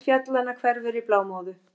Mynd fjallanna hverfur í blámóðu.